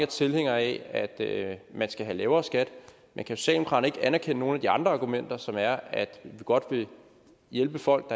tilhængere af at at man skal have lavere skat men kan socialdemokraterne ikke anerkende nogen af de andre argumenter som er at vi godt vil hjælpe folk